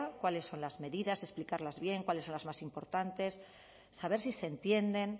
cuáles son las medidas explicarlas bien cuáles son las más importantes saber si se entienden